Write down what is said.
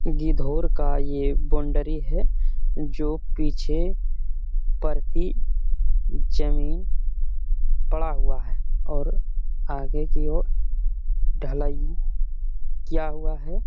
गिद्धौर का ये बाउंड्री है जो पीछे प्रति जमीन पड़ा हुआ है और आगे की ओर ढलाई किया हुआ है।